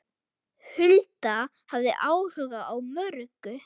Hulda hafði áhuga á mörgu.